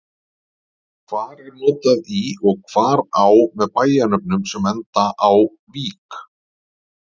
Hvar er notað í og hvar á með bæjarnöfnum sem enda á-vík?